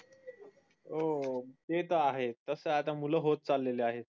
हो ते तर आहे तसे मुल होत चालेल आहेत